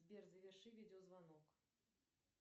сбер заверши видеозвонок